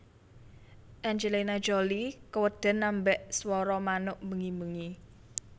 Angelina Jolie keweden ambek swara manuk bengi bengi